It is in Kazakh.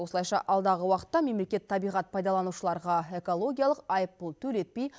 осылайша алдағы уақытта мемлекет табиғат пайдаланушыларға экологиялық айыппұл төлетпей